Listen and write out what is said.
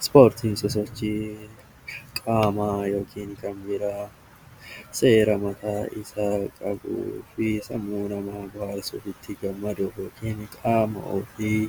Ispoortiin sosochii qaamaa yookiin seera mataa isaa kan qabu, ofitti gammaduu fi qaama ofii